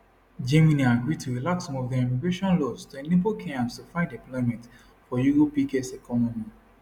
germany agree to relax some of dia immigration laws to enable kenyans to find employment for europe biggest economy